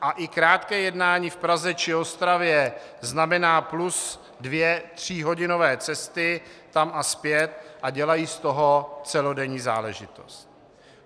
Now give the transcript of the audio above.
A i krátké jednání v Praze či Ostravě znamená plus dvě tříhodinové cesty tam a zpět a dělají z toho celodenní záležitost.